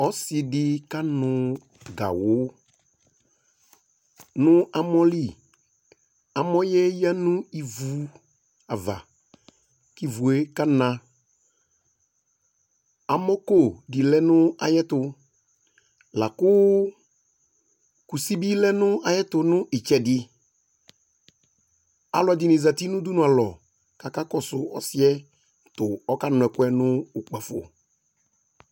Ɔsɩ dɩ kanʋ gawʋ nʋ amɔ li Amɔ yɛ yǝ nʋ ivu ava kʋ ivu yɛ kana Amɔko dɩ lɛ nʋ ayɛtʋ Lakʋ kusi bɩ lɛ nʋ ayɛtʋ nʋ ɩtsɛdɩ Alʋ ɛdɩnɩ zati nʋ udunualɔ kʋ akakɔsʋ ɔsɩ yɛ tʋ ɔkanʋ ɛkʋ yɛ nʋ ukpafo